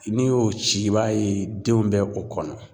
N'i y'o ci i b'a ye denw bɛ o kɔnɔ.